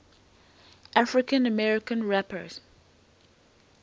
african american rappers